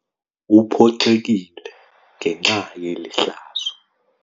Uphoxekile ngenxa yeli hlazo.